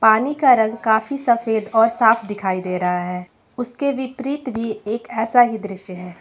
पानी का रंग काफी सफेद और साफ दिखाई दे रहा है उसके विपरीत भी एक ऐसा ही दृश्य है।